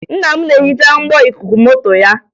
Nna m na-ehiche mgbo ikuku moto ya